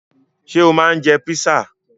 Ṣé o máa ń jẹ písà?